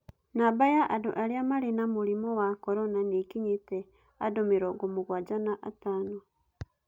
Namba ya andũ arĩa marĩ na mũrimũ wa Corona nĩikinyĩtie andũ mĩrongo mũgwanja na atano.